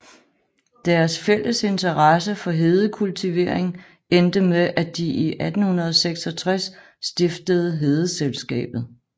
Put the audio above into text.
Deres fælles interesse for hedekultivering endte med at de i 1866 stiftede Hedeselskabet